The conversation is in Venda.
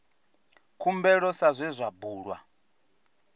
khumbelo sa zwe zwa bulwa